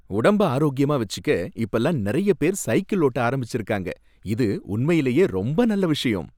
உடம்ப ஆரோக்கியமா வச்சிக்க இப்பலாம் நறைய பேர் சைக்கிள் ஓட்ட ஆரம்பிச்சிருக்காங்க, இது உண்மையிலேயே ரொம்ப நல்ல விஷயம்